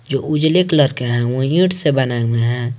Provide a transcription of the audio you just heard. जो उजले कलर के है वो ईट से बनाये हुये है।